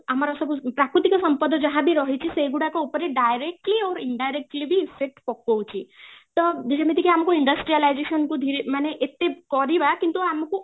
ଆମର ସବୁ ପ୍ରାକୃତିକ ସମ୍ପଦ ଯାହା ବି ରହିଛି ସେଗୁଡାକ ଉପରେ directly ଆଉ indirectly ବି effect ପକୋଉଛି ତ ଯେମିତି ଆମକୁ industrialization କୁ ଧୀରେ ମାନେ ଏତେ କରିବା କିନ୍ତୁ ଆମକୁ